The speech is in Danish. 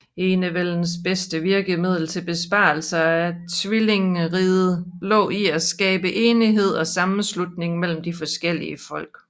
Enevældens bedste virkemiddel til bevarelse af tvillingriget lå i at skabe enighed og sammenslutning mellem de forskellige folk